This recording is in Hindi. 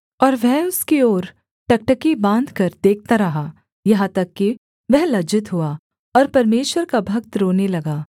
और वह उसकी ओर टकटकी बाँधकर देखता रहा यहाँ तक कि वह लज्जित हुआ और परमेश्वर का भक्त रोने लगा